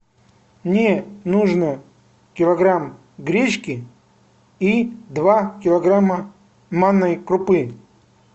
мне нужно килограмм гречки и два килограмма манной крупы